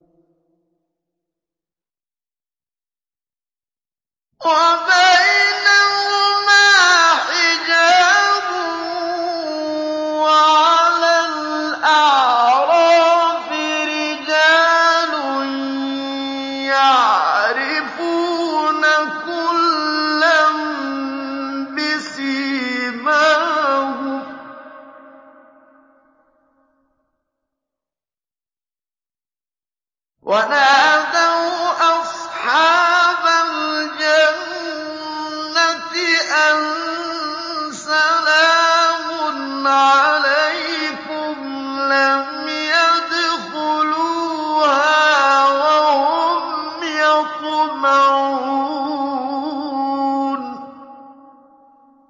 وَبَيْنَهُمَا حِجَابٌ ۚ وَعَلَى الْأَعْرَافِ رِجَالٌ يَعْرِفُونَ كُلًّا بِسِيمَاهُمْ ۚ وَنَادَوْا أَصْحَابَ الْجَنَّةِ أَن سَلَامٌ عَلَيْكُمْ ۚ لَمْ يَدْخُلُوهَا وَهُمْ يَطْمَعُونَ